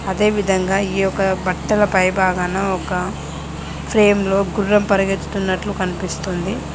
అదేవిధంగా ఈ యొక్క బట్టల పై భాగాన ఒక ఫ్రేమ్లో గుర్రం పరిగెత్తుతున్నట్లు కనిపిస్తుంది.